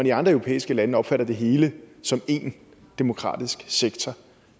i andre europæiske lande opfatter man det hele som en demokratisk sektor